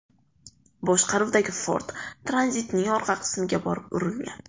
boshqaruvidagi Ford Tranzit’ning orqa qismiga borib urilgan.